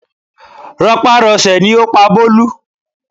Rọpárọsẹ̀ ni ó pa Bólú